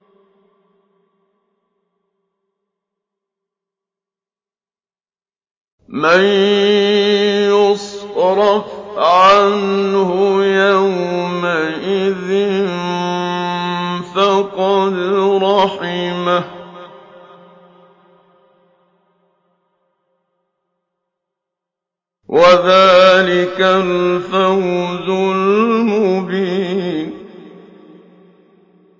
مَّن يُصْرَفْ عَنْهُ يَوْمَئِذٍ فَقَدْ رَحِمَهُ ۚ وَذَٰلِكَ الْفَوْزُ الْمُبِينُ